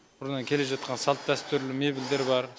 бұрыннан келе жатқан салт дәстүр мебельдер бар